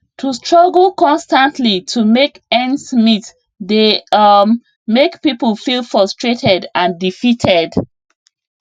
to struggle constantly to make ends meet dey um mek pipul feel frustrated and defeated